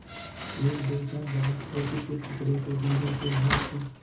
एकदो क्षण बाद रोटी के टुकड़े को धीरेसे हाथ से